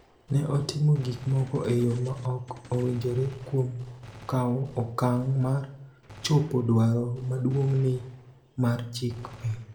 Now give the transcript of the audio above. Ne otimo gik moko e yo ma ok owinjore kuom kawo okang� mar chopo dwaro maduong�ni mar chik piny.